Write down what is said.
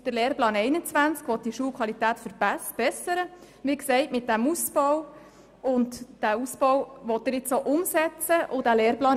Der Lehrplan 21 will mit diesem Ausbau die Schulqualität verbessern.